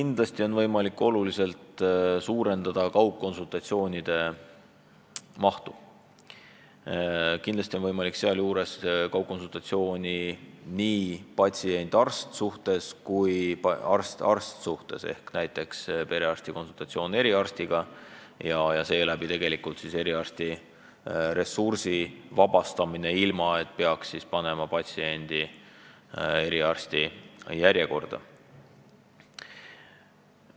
Kindlasti on võimalik oluliselt suurendada kaugkonsultatsioonide mahtu, kindlasti on võimalik kaugkonsultatsioonid nii patsiendi ja arsti suhtes kui ka arsti ja arsti suhtes ehk näiteks perearst saab konsultatsiooni eriarstilt ja seeläbi tegelikult vabaneb eriarsti ressurssi, patsient ei pea ennast eriarsti juurde järjekorda panema.